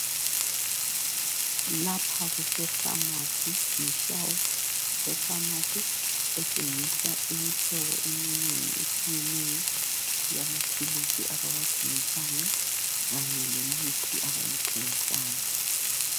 Lapha kusefamasi yishelufu efamasi etshengisa imihlobo eminengi etshiyeneyo yamaphilisi abawathengisayo kanye lemithi abayithengisayo .